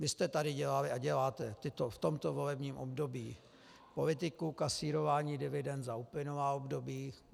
Vy jste tady dělali a děláte v tomto volebním období politiku kasírování dividend za uplynulá období.